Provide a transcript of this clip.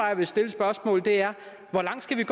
jeg vil stille et spørgsmål og det er hvor langt skal vi